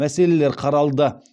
мәселелер қаралды